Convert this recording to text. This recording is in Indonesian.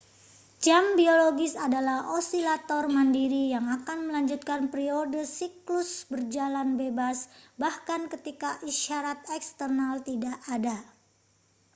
jam biologis adalah osilator mandiri yang akan melanjutkan periode siklus berjalan bebas bahkan ketika isyarat eksternal tidak ada